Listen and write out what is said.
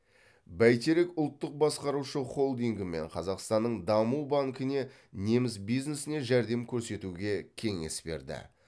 бәйтерек ұлттық басқарушы холдингі мен қазақстанның даму банкіне неміс бизнесіне жәрдем көрсетуге кеңес берді